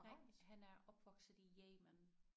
Nej han er opvokset i Yemen